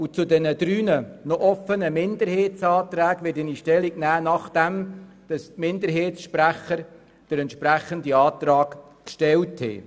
Zu den drei noch offenen Anträgen der SiKMinderheit werde ich Stellung nehmen, nachdem die Minderheitssprecher den entsprechenden Antrag vorgestellt haben.